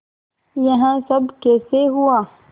यह सब कैसे हुआ